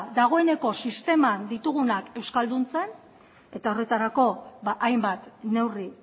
dagoeneko sisteman ditugunak euskalduntzen eta horretarako hainbat neurri